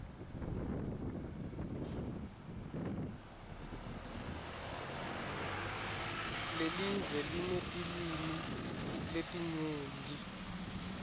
lelive linetilwimi letinyenti